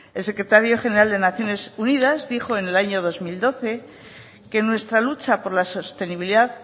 el secretario general de naciones unidad dijo en el año dos mil doce que nuestra lucha por la sostenibilidad